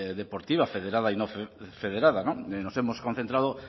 deportiva federada y no federada y nos hemos concentrado